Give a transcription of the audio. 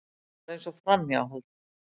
Þetta var eins og framhjáhald.